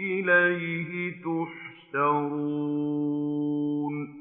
إِلَيْهِ تُحْشَرُونَ